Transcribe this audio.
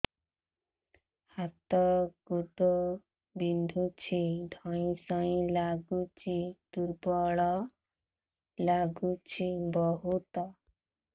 ହାତ ଗୋଡ ବିନ୍ଧୁଛି ଧଇଁସଇଁ ଲାଗୁଚି ଦୁର୍ବଳ ଲାଗୁଚି ବହୁତ